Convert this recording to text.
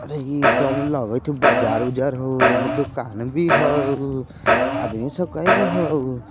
अरे इ ते लागे छे बाजार-उजार होयन दुकान भी हउ आदमी सब कै गो हउ --